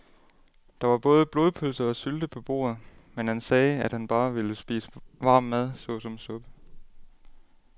Der var både blodpølse og sylte på bordet, men han sagde, at han bare ville spise varm mad såsom suppe.